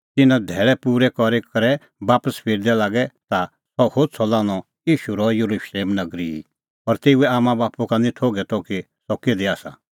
तिंयां तिन्नां धैल़ै पूरै करी करै बापस फिरदै लागै ता सह होछ़अ लान्हअ ईशू रहअ येरुशलेम नगरी ई और तेऊए आम्मांबाप्पू का निं थोघै त कि सह किधी आसा